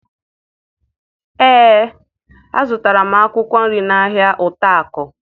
Ee, azụtara m akụkwọ nri n'ahịa Utako